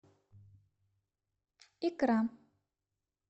икра